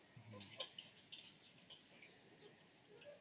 noise